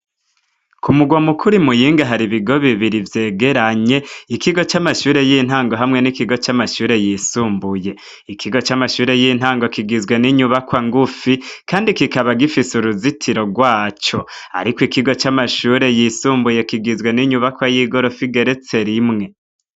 ku mugwa mukuru muyinga hari ibigo bibiri vyegeranye ikigo cy'amashure y'intango hamwe n'ikigo c'amashure yisumbuye ikigo c'amashure y'intango kigizwe n'inyubakwa ngufi kandi kikaba gifise uruzitiro rwaco ariko ikigo c'amashure yisumbuye kigizwe n'inyubakwa y'igorofi igeretse rimwe